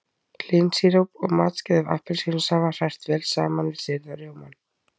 Hlynsíróp og matskeið af appelsínusafa hrært vel saman við sýrða rjómann.